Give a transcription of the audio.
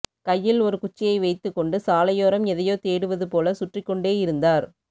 கையில் ஒரு குச்சியை வைத்துக் கொண்டு சாலையோரம் எதையோ தேடுவது போல சுற்றிக் கொண்டேயிருந்தார்